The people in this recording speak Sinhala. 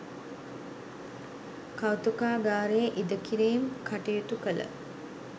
කෞතුකාගාරයේ ඉදිකිරීම් කටයුතු කළ